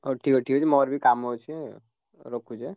ହଉ ଠିକ୍ ଠିକ୍ ଅଛି ମୋର ବି କାମ ଅଛି ଆଉ ରଖୁଛି ଏଁ।